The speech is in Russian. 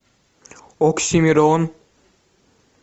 оксимирон